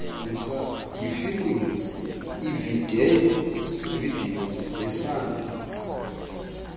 yefilimu ivideyo nesandi